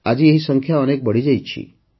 ଆଜି ଏହି ସଂଖ୍ୟା ଅନେକ ବଢ଼ିଯାଇଛି